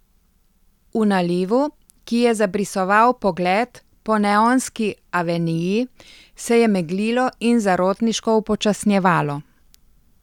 V nalivu, ki je zabrisoval pogled po neonski aveniji, se je meglilo in zarotniško upočasnjevalo.